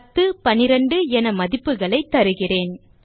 10 மற்றும் 12 என மதிப்புகளைத் தருகிறேன்